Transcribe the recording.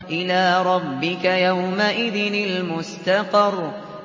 إِلَىٰ رَبِّكَ يَوْمَئِذٍ الْمُسْتَقَرُّ